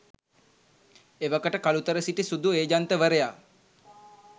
එවකට කළුතර සිටි සුදු ඒජන්තවරයා